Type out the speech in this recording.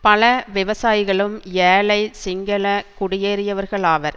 பல விவசாயிகளும் ஏழை சிங்கள குடியேறியவர்களாவர்